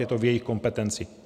Je to v jejich kompetenci.